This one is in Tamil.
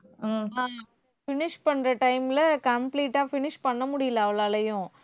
ஹம் finish பண்ற time ல complete ஆ finish பண்ண முடியலை அவளாலேயும்